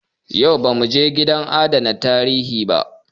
Yau ba mu je gidan adana tarihin ba.